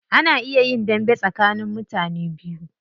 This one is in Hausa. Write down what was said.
Ana iya yin dambe tsakanin mutane biyu.